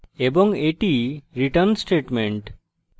এবং এটি return statement